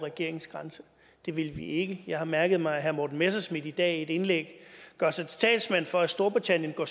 regeringens grænse det vil vi ikke jeg har mærket mig at herre morten messerschmidt i dag i et indlæg gør sig til talsmand for at storbritannien går